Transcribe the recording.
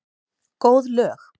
Góð lög.